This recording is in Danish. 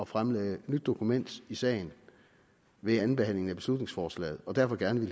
fremlagde et nyt dokument i sagen ved andenbehandlingen af beslutningsforslaget og derfor gerne